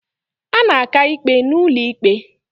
A na-aka ikpe n'ụlọ ikpe